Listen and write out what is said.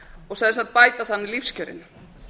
og sem sagt bæta þar með lífskjörin